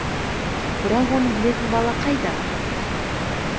бірақ оны білетін бала қайда